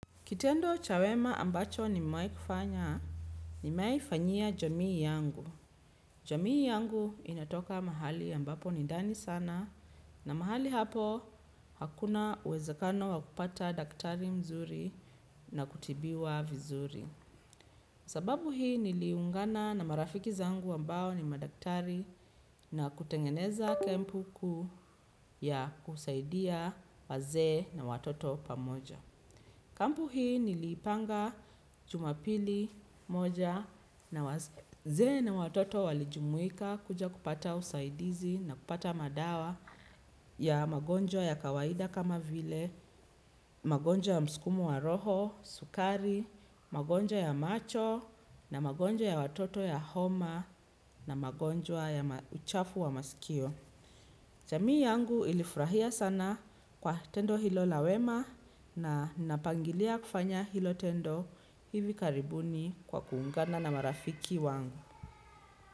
Kitendo cha wema ambacho nimewahi kufanya, nimewahi fanyia jamii yangu. Jamii yangu inatoka mahali ambapo ni ndani sana na mahali hapo hakuna uwezekano wakupata daktari mzuri na kutibiwa vizuri. Sababu hii niliungana na marafiki zangu ambao ni madaktari na kutengeneza kempu kuu ya kusaidia wazee na watoto pamoja. Kampu hii nilipanga jumapili moja na wazee watoto walijumuika kuja kupata usaidizi na kupata madawa ya magonjwa ya kawaida kama vile, magonjwa ya msukumo wa roho, sukari, magonjwa ya macho na magonjwa ya watoto ya homa na magonjwa ya uchafu wa masikio. Jamii yangu ilifurahia sana kwa tendo hilo la wema na napangilia kufanya hilo tendo hivi karibuni kwa kuungana na marafiki wangu.